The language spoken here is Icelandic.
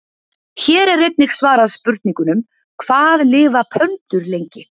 Hér er einnig svarað spurningunum: Hvað lifa pöndur lengi?